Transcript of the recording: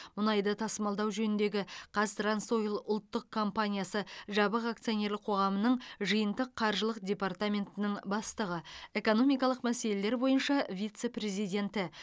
мұнайды тасымалдау жөніндегі қазтрансойл ұлттық компаниясы жабық акционерлік қоғамының жиынтық қаржылық департаментінің бастығы экономикалық мәселелер бойынша вице президенті